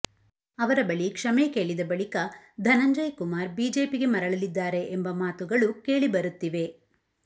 ಅವರ ಬಳಿ ಕ್ಷಮೆ ಕೇಳಿದ ಬಳಿಕ ಧನಂಜಯ್ ಕುಮಾರ್ ಬಿಜೆಪಿಗೆ ಮರಳಲಿದ್ದಾರೆ ಎಂಬ ಮಾತುಗಳು ಕೇಳಿಬರುತ್ತಿವೆ